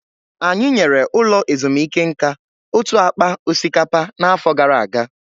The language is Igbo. Anyị nyere ụlọ ezumike nka otu akpa osikapa n'afọ gara aga